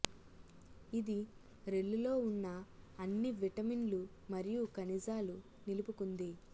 ఇది రెల్లు లో ఉన్న అన్ని విటమిన్లు మరియు ఖనిజాలు నిలుపుకుంది